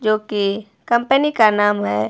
जो की कंपनी का नाम है।